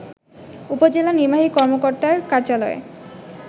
উপজেলা নির্বাহী কর্মকর্তার কার্যালয়ে